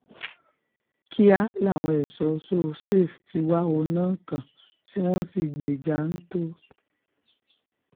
kíá làwọn ẹ̀ṣọ́ so-safe ti wá òun náà kàn tí wọ́n sì gbé e janto